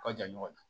U ka jan ɲɔgɔn na